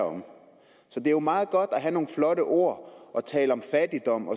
om det er jo meget godt at have nogle flotte ord og tale om fattigdom